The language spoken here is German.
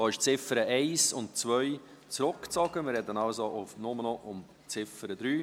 Da sind die Ziffern 1 und 2 zurückgezogen, wir reden also nur noch über die Ziffer 3.